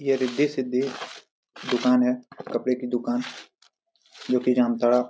ये रिद्धि सिद्धि दुकान है कपड़े की दुकान जो की जामताड़ा --